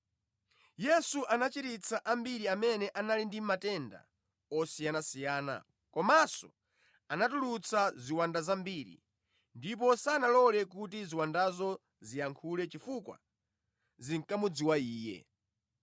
Yesu anachiritsa ambiri amene anali ndi matenda osiyanasiyana, komanso anatulutsa ziwanda zambiri, ndipo sanalole kuti ziwandazo ziyankhule chifukwa zinkamudziwa Iye.